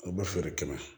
A bɛ feere kɛmɛ